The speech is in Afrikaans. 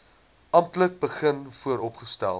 amptelik begin vooropstel